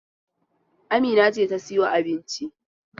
Amina ce ta sayo abincin.